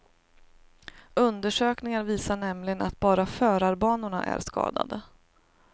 Undersökningar visar nämligen att bara förarbanorna är skadade.